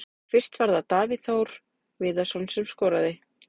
Fyrst var það Davíð Þór Viðarsson sem skoraði.